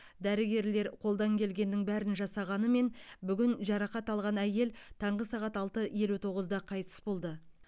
дәрігерлер қолдан келгеннің бәрін жасағанымен бүгін жарақат алған әйел таңғы сағат алты елу тоғызда қайтыс болды